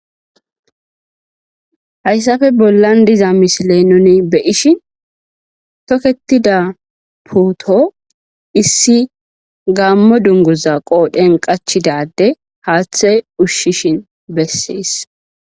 hayssafe bollan diza misile nuni beyishin tokketida puuto issi gaammo dungoza qoodhen qachida adey haaththey ushshishin bessees